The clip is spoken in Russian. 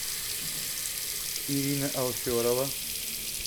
ирина алферова